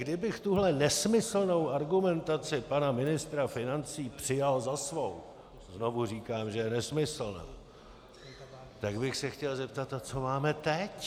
Kdybych tuhle nesmyslnou argumentaci pana ministra financí přijal za svou - znovu říkám, že je nesmyslná - tak bych se chtěl zeptat: A co máme teď?